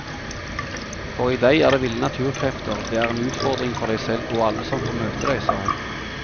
For i deg er det ville naturkrefter, det er en utfordring for deg selv og alle som får møte deg, sa hun.